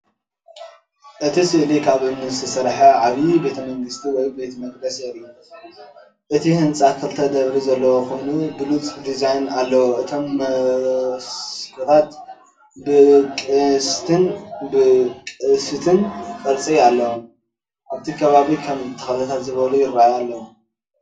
እቲ ስእሊ ካብ እምኒ ዝተሰርሐ ዓቢ ቤተ መንግስቲ ወይ ቤተ መቕደስ የርኢ። እቲ ህንጻ ክልተ ደርቢ ዘለዎ ኮይኑ ብሉጽ ዲዛይን ኣለዎ። እቶም መስኮታት ብቅስትን ቅስትን ቅርጺ ኣለዎም። ኣብቲ ከባቢ ከም ተኽልታት ዝበሉ ይራኣዩ ኣለው።